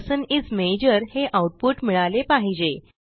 person इस माजोर हे आऊटपुट मिळाले पाहिजे